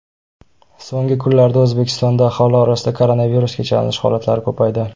So‘nggi kunlarda O‘zbekistonda aholi orasida koronavirusga chalinish holatlari ko‘paydi.